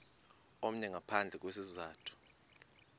omnye ngaphandle kwesizathu